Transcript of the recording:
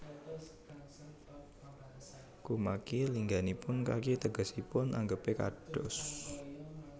Kumaki lingganipun kaki tegesipun anggepé kados